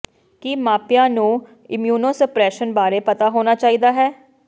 ਕੀ ਮਾਪਿਆਂ ਨੂੰ ਇਮੂਨੋਸੁਪਰੇਸ਼ਨ ਬਾਰੇ ਪਤਾ ਹੋਣਾ ਚਾਹੀਦਾ ਹੈ